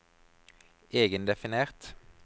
egendefinert